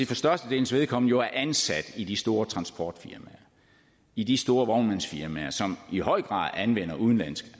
for størstedelens vedkommende er ansat i de store transportfirmaer i de store vognmandsfirmaer som i høj grad anvender udenlandsk